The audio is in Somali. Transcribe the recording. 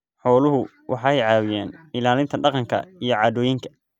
Xooluhu waxay caawiyaan ilaalinta dhaqanka iyo caadooyinka.